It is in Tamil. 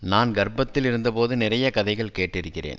நான் கர்ப்பத்தில் இருந்த போது நிறைய கதைகள் கேட்டிருக்கிறேன்